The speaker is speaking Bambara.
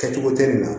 Kɛcogo tɛ nin na